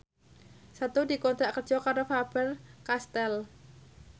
Setu dikontrak kerja karo Faber Castel